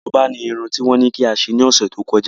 Korobá ni irun tí wọ́n ní kí a ṣe lọ́sẹ̀ tó kọjá.